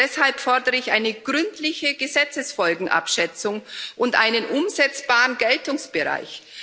Deshalb fordere ich eine gründliche Gesetzesfolgenabschätzung und einen umsetzbaren Geltungsbereich.